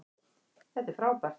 Þetta er frábært